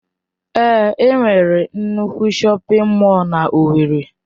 Èé, enwere nnukwu shọpin mọll n'Owerri.